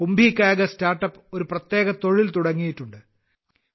കുംഭികാഗസ് start up ഒരു പ്രത്യേക തൊഴിൽ തുടങ്ങിയിട്ടുണ്ട്